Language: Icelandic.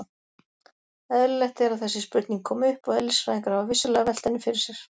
Eðlilegt er að þessi spurning komi upp og eðlisfræðingar hafa vissulega velt henni fyrir sér.